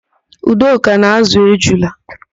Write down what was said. Udoka na-ázụ̀ ejula.